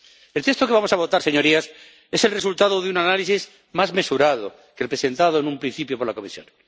El texto que vamos a votar, señorías, es el resultado de un análisis más mesurado que el presentado en un principio por la Comisión.